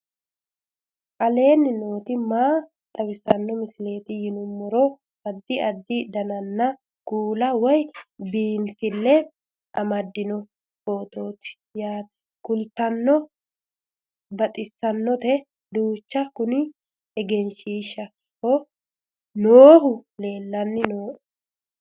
aleenni nooti maa xawisanno misileeti yinummoro addi addi dananna kuula woy biinsille amaddino footooti yaate qoltenno baxissannote manchu kuni egenshshiishshaho noohu leellanni nooe